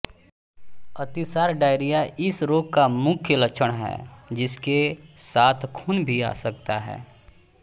अतिसार डायरिया इस रोग का मुख्य लक्षण है जिसके साथ खून भी आ सकता है